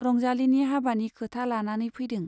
रंजालीनि हाबानि खोथा लानानै फैदों।